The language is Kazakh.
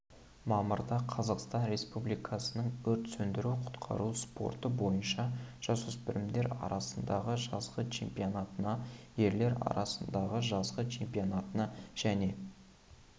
мамырда қазақстан республикасының өрт сөндіру-құтқару спорты бойынша жасөспірімдер арасындағы жазғы чемпионатына ерлер арасындағы жазғы чемпионатына және